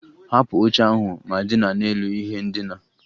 Hapụ oche ahụ ma dina n'elu ihe ndina!